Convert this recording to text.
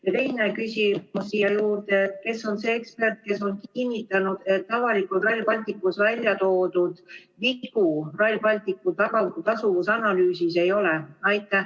Ja teine küsimus siia juurde: kes on see ekspert, kes on kinnitanud, et avalikult Rail Balticu puhul väljatoodud vigu Rail Balticu tasuvusanalüüsis ei ole?